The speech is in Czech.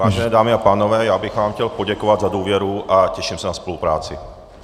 Vážené dámy a pánové, já bych vám chtěl poděkovat za důvěru a těším se na spolupráci.